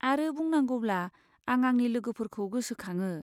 आरो बुंनांगौब्ला, आं आंनि लोगोफोरखौ गोसोखाङो।